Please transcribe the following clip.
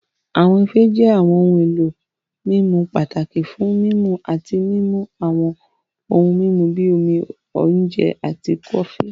Awọn ife jẹ awọn ohun elo mimu pataki fun mimu ati mimu awọn ohun mimu bi omi, oje, ati kofi.